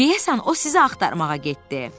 Deyəsən o sizi axtarmağa getdi.